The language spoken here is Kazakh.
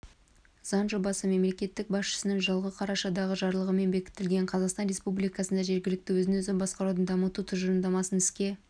заң жобасы мемлекет басшысының жылғы қарашадағы жарлығымен бекітілген қазақстан республикасында жергілікті өзін-өзі басқаруды дамыту тұжырымдамасын іске